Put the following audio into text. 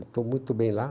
Estou muito bem lá.